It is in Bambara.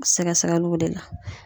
Sɛgɛsɛgɛluw de la